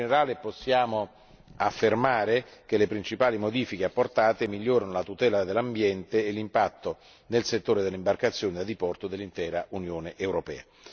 In generale, possiamo affermare che le principali modifiche apportate migliorano la tutela dell'ambiente e l'impatto nel settore dell'imbarcazione da diporto dell'intera Unione europea.